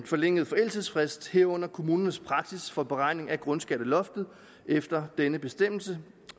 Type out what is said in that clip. forlængede forældelsesfrist herunder kommunernes praksis for beregning af grundskatteloftet efter denne bestemmelse